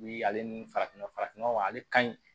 Bi ale ni farafin nɔgɔ farafin nɔgɔ ale ka ɲi